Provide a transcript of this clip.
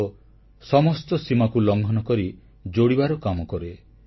ଯୋଗ ସମସ୍ତ ସୀମାକୁ ଲଂଘନ କରି ଯୋଡ଼ିବାର କାମ କରେ